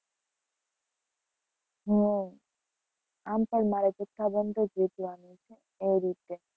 હમ આમ પણ મારે જથ્થાબંધ જ વેચવાનું છે એ રીતે.